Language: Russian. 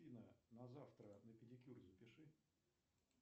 афина на завтра на педикюр запиши